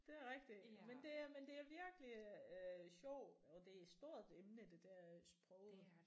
Det er rigtigt men det er men det er virkelig øh sjovt og det er et stort emne det der øh sproget